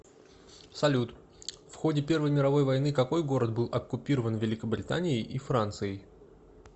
салют в ходе первой мировой войны какой город был оккупирован великобританией и францией